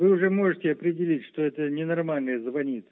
вы уже можете определить что это ненормальный звонит